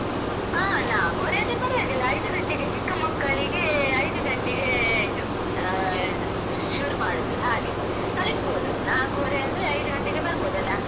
ಹಾ ನಾಕುವರೆ ಆದ್ರೆ ಪರ್ವಾಗಿಲ್ಲ ಐದು ಗಂಟೆಗೆ ಚಿಕ್ಕ ಮಕ್ಕಳಿಗೆ ಐದು ಗಂಟೆಗೆ ಇದು ಅಹ್ ಶುರು ಮಾಡುದು, ಹಾಗೆ ಕಳಿಸ್ಬೋದು ನಾಕುವರೆ ಅಂದ್ರೆ ಐದು ಗಂಟೆಗೆ ಬರ್ಬೋದಲ್ಲ.